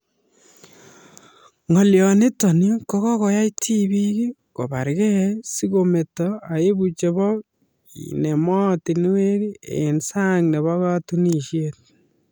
Ng'alio nitok ko koyai tibik ko bargei si kometo aibu chebo kenem moatinikwek eng' sang nebo katunishet